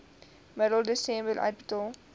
middel desember uitbetaal